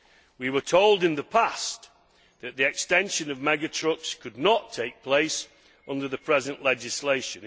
We were told in the past that the extension of mega trucks could not take place under the present legislation.